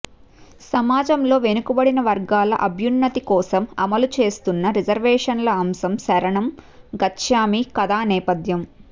సమాజంలో వెనుకబడిన వర్గాల అభున్నతి కోసం అమలు చేస్తున్న రిజర్వేషన్ల అంశం శరంణం గచ్ఛామి కథా నేపథ్యం